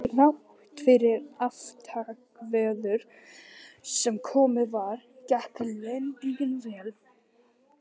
Þrátt fyrir aftakaveður sem komið var, gekk lendingin vel.